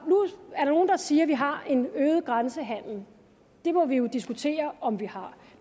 siger at vi har en øget grænsehandel det må vi jo diskutere om vi har